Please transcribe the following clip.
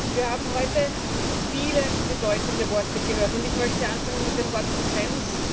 Wir haben heute viele bedeutende Worte gehört, und ich möchte anfangen mit dem Wort Konsens.